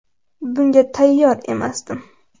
Bunga tayyor emasdim.